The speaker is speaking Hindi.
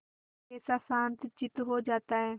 कैसा शांतचित्त हो जाता है